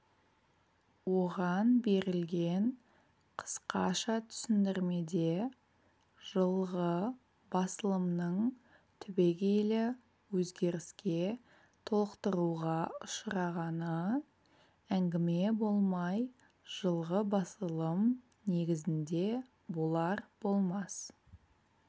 оған берілген қысқаша түсіндірмеде жылғы басылымның түбегейлі өзгеріске толықтыруға ұшырағаны әңгіме болмай жылғы басылым негізінде болар-болмас